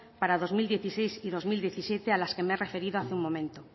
para dos mil dieciséis y dos mil diecisiete a las que me he referido hace un momento